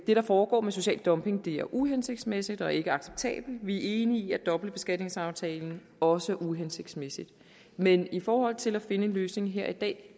det der foregår med social dumping er uhensigtsmæssigt og ikke acceptabelt vi er enige i at dobbeltbeskatningsaftalen også er uhensigtsmæssig men i forhold til at finde en løsning her i dag